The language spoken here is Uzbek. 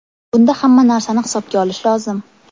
Bunda hamma narsani hisobga olish lozim.